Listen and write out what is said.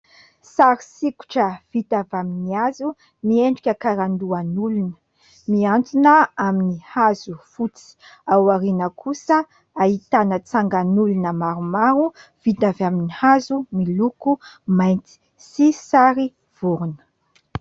Sary sikotra vita avy amin'ny hazo, miendrika karandohan'olona. Miantona amin'ny hazo fotsy. Aoriana kosa dia ahitana tsangan'olona maromaro vita avy amin'ny hazo miloko mainty sy sary vorona.